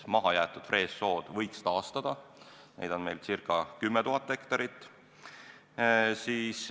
Mahajäetud frees-jääksood võiks taastada, neid on meil ca 10 000 hektarit.